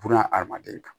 Buna adamaden kan